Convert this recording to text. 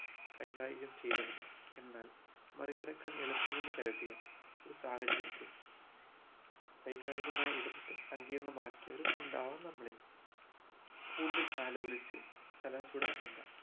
കൈകാര്യം ചെയ്തവരും എന്നാൽ മാറി കടക്കാൻ എളുപ്പമെന്നു കരുതിയ ഒരു സാഹചര്യത്തെ വൈകാരികമായി ഇടപെട്ട് സങ്കീര്ണമാക്കിയവരും ഉണ്ടാവാം നമ്മളിൽ കൂടുതൽ ആലോളിച് തല ചൂടാക്കേണ്ട